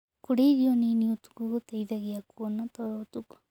Kũrĩa irio nĩnĩ ũtũkũ gũteĩthagĩa kũona toro ũtũkũ